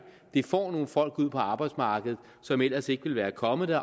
får nogle folk ud på arbejdsmarkedet som ellers ikke ville været kommet